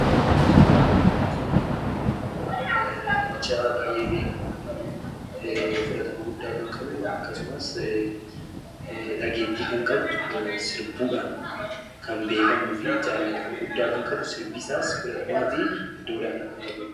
Suuraa kana irratti kan arginu immoo, namicha baayyee beekamaa fi fudhatama guddaa kan qabu akkasumas dhageettii kan qabu sirbuudhaan kan beekamuu fi jaallatama guddaa kan qabu, sirbi isaas fudhatamaa fi iddoo olaanaa kan qabudha.